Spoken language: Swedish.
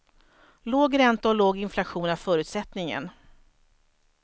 Låg ränta och låg inflation är förutsättningen.